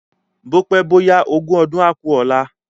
Bópé bóyá ogún ọdún á ku ọ̀la